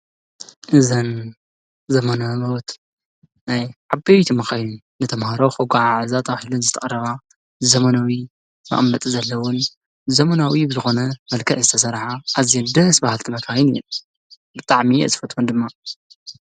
እዘን ዘመናውት ናይ ዓበይቲ መኻይን ንተምሃሮ ከጓዓዕዛ ተባሂለን ዝተቐረባ ዘመናዊ መቀመጢ ዘለወን ዘመናዊ ብዝኾነ መልክዕ ዝተሰርሓ ኣዚየን ደስ በሃልቲ መካይን እየን። ብጣዕሚ እየ ዝፈትወን ድማ።